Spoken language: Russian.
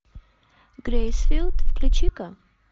грейсфилд включи ка